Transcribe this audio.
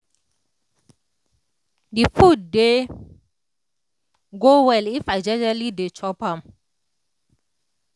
the food dey go well if i jejely dey chop am